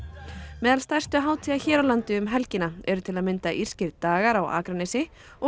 meðal stærstu hátíða hér á landi um helgina eru til að mynda írskir dagar á Akranesi og